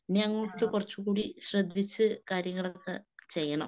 ഇനി അങ്ങോട്ട് കുറച്ചുകൂടി ശ്രദ്ധിച്ച് കാര്യങ്ങളൊക്കെ ചെയ്യണം.